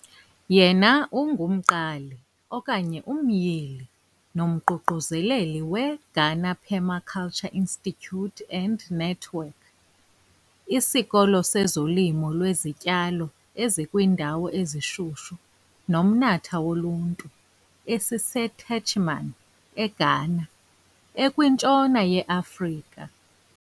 Yena ungumqali okanye umyili nomququzeleli weGhana Permaculture Institute and Network, "isikolo sezolimo lwezityalo ezikwiindawo ezishushu "nomnatha woluntu", "esiseTechiman", "eGhana, ekwintshona yeAfrika.